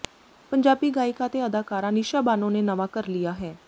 ਪੰਜਾਬੀ ਗਾਇਕਾ ਤੇ ਅਦਾਕਾਰਾ ਨਿਸ਼ਾ ਬਾਨੋ ਨੇ ਨਵਾਂ ਘਰ ਲਿਆ ਹੈ